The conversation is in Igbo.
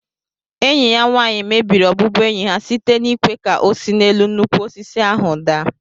Enyi ya nwanyi mebiri ọbụbụenyi ha site n'ịkwé ka ọ si n'elu nnukwu osisi ahu daa